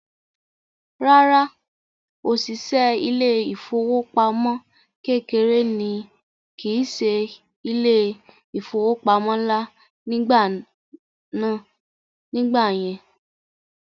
Rárá, òṣìṣẹ́ ilé ìfowópamọ́ kékeré ní kìí se ilé ìfowópamọ́ ńlá nígbà yẹn